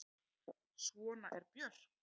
Svona er Björk.